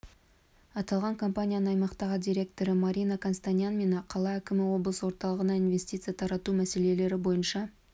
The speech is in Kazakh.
аталған компанияның аймақтағы директоры марина констанян мен қала әкімі облыс орталығына инвестиция тарту мәселелері бойынша